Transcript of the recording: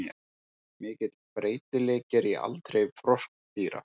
Mikill breytileiki er í aldri froskdýra.